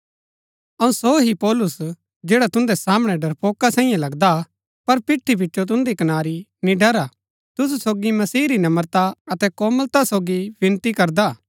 अऊँ सो ही पौलुस जैडा तुन्दै सामणै डरपोका सांईयै लगदा हा पर पिठी पिचो तुन्दी कनारी निड़र हा तुसु सोगी मसीह री नम्रता अतै कोमलता सोगी विनती करदा हा